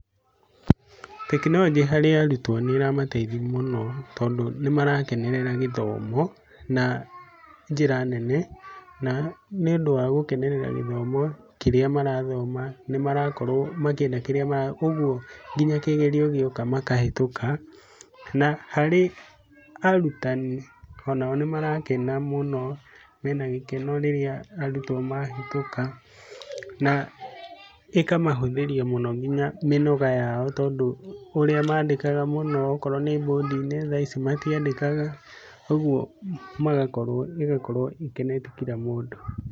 Tekinoronjĩ harĩ arutwo nĩ ĩramateithia mũno tondũ nĩ marakenerera gĩthomo na njĩra nene, na nĩ ũndũ wa gũkenerera gĩthomo kĩrĩa marathoma, nĩmarakorwo makĩenda kĩrĩa, ũguo nginya kĩgerio gioka makahĩtũka, na harĩ arutani o nao nĩ marakena mũno mena gĩkeno rĩrĩa arutwo mahĩtũka na ĩkamahũthĩria mũno nginya mĩnoga yao tondũ ũrĩa mandĩkaga mũno okorwo nĩ mbũndi-inĩ thaici matiandĩkaga, ũguo ĩgakorwo ĩkenetie kira mũndũ